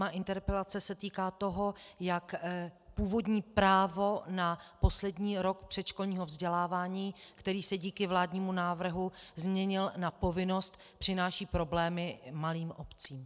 Má interpelace se týká toho, jak původní právo na poslední rok předškolního vzdělávání, který se díky vládnímu návrhu změnil na povinnost, přináší problémy malým obcím.